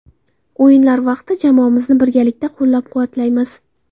O‘yinlar vaqti jamoamizni birgalikda qo‘llab-quvvatlaymiz.